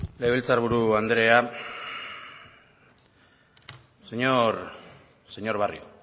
legebiltzar buru andrea señor barrio